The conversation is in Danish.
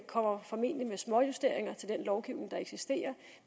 kommer med småjusteringer af den lovgivning der eksisterer